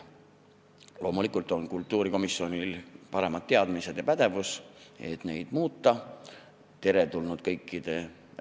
Loomulikult on kultuurikomisjonil paremad teadmised ja pädevus, et neid määrasid muuta.